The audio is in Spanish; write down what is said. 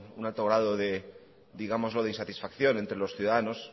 un alto grado digámoslo de insatisfacción entre los ciudadanos